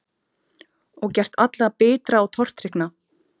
Og gert alla bitra og tortryggna.